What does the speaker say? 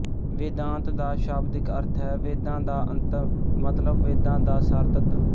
ਵੇਦਾਂਤ ਦਾ ਸ਼ਾਬਦਿਕ ਅਰਥ ਹੈ ਵੇਦਾਂ ਦਾ ਅੰਤ ਮਤਲਬ ਵੇਦਾਂ ਦਾ ਸਾਰਤੱਤ